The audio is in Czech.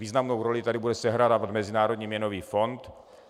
Významnou roli tady bude sehrávat Mezinárodní měnový fond.